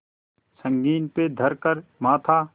संगीन पे धर कर माथा